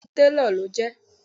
Bẹ́ẹ̀ni irú talo ló jé